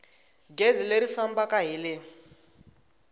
gezi leri fambaka hi le